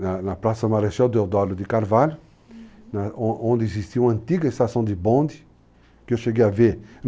na Praça Marechal Deodólio de Carvalho, né, onde existia uma antiga estação de bonde, que eu cheguei a ver.